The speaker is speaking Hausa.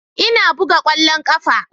Ina buga kwallon kafa.